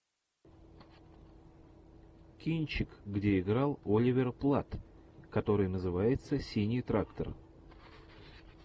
кинчик где играл оливер платт который называется синий трактор